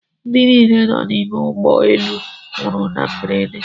Ndị niile nọ n’ime ụgbọ elu nwụrụ na mberede